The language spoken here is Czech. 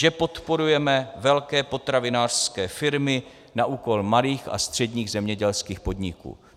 Že podporujeme velké potravinářské firmy na úkor malých a středních zemědělských podniků.